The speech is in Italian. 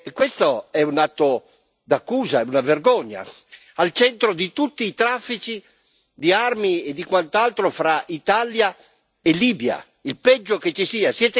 Questo è un atto d'accusa, è una vergogna, al centro di tutti i traffici di armi e di quant'altro fra Italia e Libia, il peggio che ci sia.